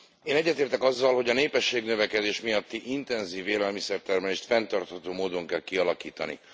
Én egyetértek azzal, hogy a népességnövekedés miatti intenzív élelmiszertermelést fenntartható módon kell kialakítani.